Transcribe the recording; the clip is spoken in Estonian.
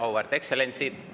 Auväärt ekstsellentsid!